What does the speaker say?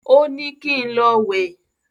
Ó ní kín lọ wé